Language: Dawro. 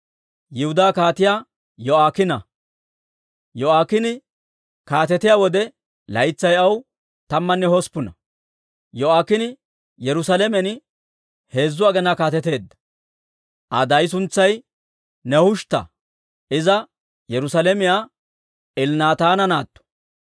Yo'aakiine kaatetiyaa wode laytsay aw tammanne hosppuna; Yo'aakiine Yerusaalamen heezzu aginaa kaateteedda. Aa daay suntsay Nehushtta; Iza Yerusaalamiyaa Elnaataana naatto.